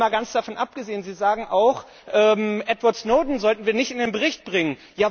Und mal ganz davon abgesehen, Sie sagen auch, Edward Snowden sollten wir nicht in den Bericht bringen.